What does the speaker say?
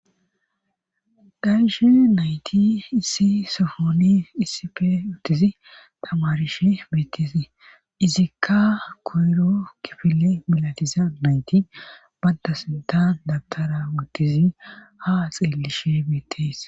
Dayishe nayti issi sohooni issife wuttizi tamarishe beettise izikka koyro kifile milatiza nayti badda sintan dabtara wuttizi ha xeellishe beettees.